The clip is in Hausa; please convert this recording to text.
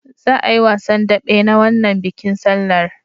Za'a yi wasan daɓe na wannan bikin sallar.